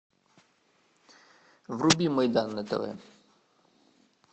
вруби майдан на тв